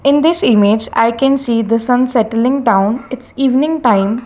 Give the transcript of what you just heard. in this image i can see the sun settling down its evening time.